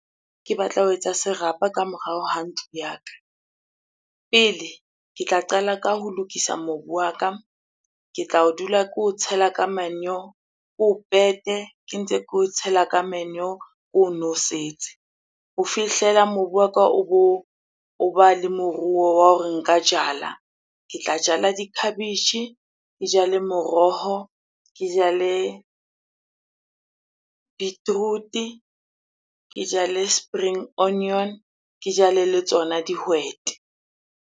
Ke batla ho etsa serapa ka morao ha ntlo ya ka. Pele, ke tla qala ka ho lokisa mobu wa ka, ke tla o dula ko o tshela ka manure, o ke ntse ke o tshela ka manure ono setse. Ho fihlela mobu wa ka o bo, o ba le moruo wa hore nka jala. Ke tla jala dikhabetjhe, ke jale moroho, ke jale beetroot-e, ke jale spring onion, ke jale le tsona dihwete.